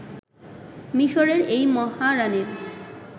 মিশরের এই মহারানির